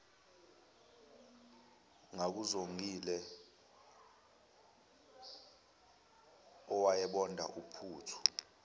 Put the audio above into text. ngakuzongile owayebonda uphuthu